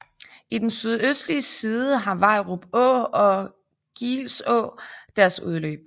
I den sydøstlige side har Vejrup Å og Geelså deres udløb